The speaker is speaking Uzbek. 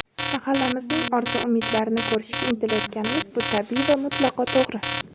mahallamizning orzu-umidlarini ko‘rishga intilayotganimiz – bu tabiiy va mutlaqo to‘g‘ri.